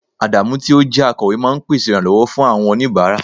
Adamu yi o je akowe ma n pèsè iranlowo fún awọn onibara